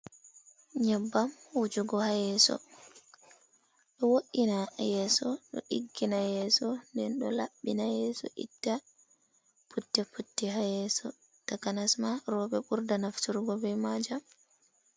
Nyebbam wujugo ha yeso. Ɗe wo’ina yeso, ɗo diggina yeso, nden do laɓɓina yeso itta putti putti ha yeso. Takanasma robe burda nafturgo be ma jam.